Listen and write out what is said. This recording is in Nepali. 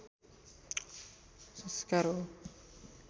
संस्कार हो